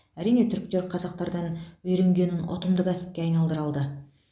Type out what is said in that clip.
әрине түріктер қазақтардан үйренгенін ұтымды кәсіпке айналдыра алды